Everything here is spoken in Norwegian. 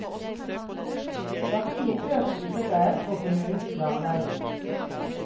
Dette gir økt usikkerhet for kommunenes planlegging.